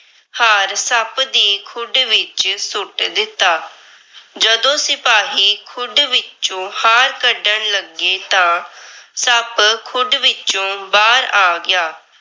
ਹਾਰ ਸੱਪ ਦੀ ਖੁੱਡ ਵਿੱਚ ਸੁੱਟ ਦਿੱਤਾ। ਜਦੋਂ ਸਿਪਾਹੀ ਖੁੱਡ ਵਿੱਚੋ ਹਾਰ ਕੱਢਣ ਲੱਗੇ ਤਾਂ ਸੱਪ ਖੁੱਡ ਵਿੱਚੋ ਬਾਹਰ ਆ ਗਿਆ।